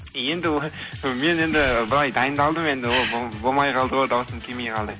енді мен енді былай дайындалдым енді ол болмай қалды ғой дауысым келмей қалды